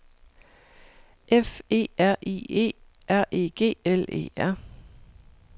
F E R I E R E G L E R